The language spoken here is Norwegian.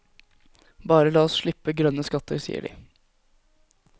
Bare la oss slippe grønne skatter, sier de.